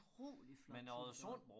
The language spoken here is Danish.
Utrolig flot tur der